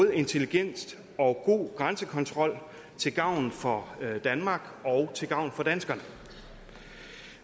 intelligent og god grænsekontrol til gavn for danmark og til gavn for danskerne